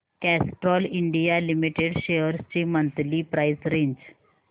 Castrol India limited shares ची monthly price range